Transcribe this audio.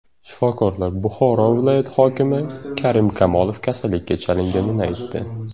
Shifokorlar Buxoro viloyati hokimi Karim Kamolov kasallikka chalinganini aytdi.